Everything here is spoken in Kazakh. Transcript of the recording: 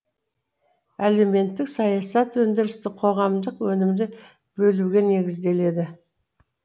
әлеуметтік саясат өндірістік қоғамдық өнімді бөлуге негізделеді